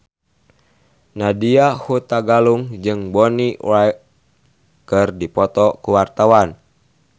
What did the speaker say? Nadya Hutagalung jeung Bonnie Wright keur dipoto ku wartawan